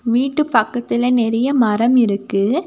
வீட்டு பக்கத்துல நெறைய மரம் இருக்கு.